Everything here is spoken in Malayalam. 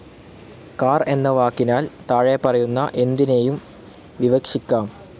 കാർ എന്ന വാക്കിനാൽ താഴെപറയുന്ന എന്തിനേയും വിവക്ഷിക്കാം.